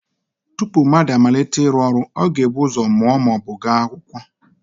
Tupu mmadụ amalite ịrụ ọrụ ọ ga-ebu ụzọ mụọ ma ọ bụ gaa akwụkwọ